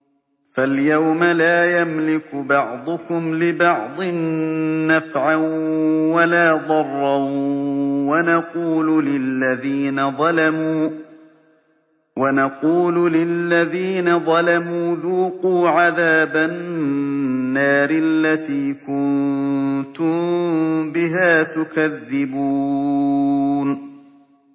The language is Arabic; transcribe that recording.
فَالْيَوْمَ لَا يَمْلِكُ بَعْضُكُمْ لِبَعْضٍ نَّفْعًا وَلَا ضَرًّا وَنَقُولُ لِلَّذِينَ ظَلَمُوا ذُوقُوا عَذَابَ النَّارِ الَّتِي كُنتُم بِهَا تُكَذِّبُونَ